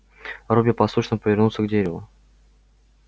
робби послушно повернулся к дереву